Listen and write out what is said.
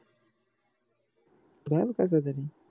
घाल कस तरी